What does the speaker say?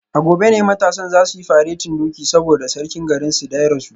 A gobe ne matasan za su yi faretin doki saboda sarkin garinsu da ya rasu